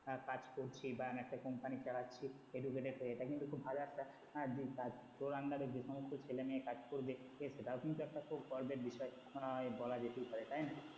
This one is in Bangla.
আহ কাজ করছি বা আমি একটা company চালাচ্ছি educated হয়ে এটা কিন্তু খুব ভাল একটা আহ দিক কাজ তোর under এ যে সমস্ত ছেলে মেয়ে কাজ করবে সেটাও কিন্তু একটা খুব গর্বের বিষয় আহ বলা যেতেই পারে তাই না?